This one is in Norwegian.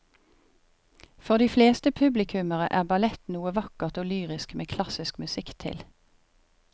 For de fleste publikummere er ballett noe vakkert og lyrisk med klassisk musikk til.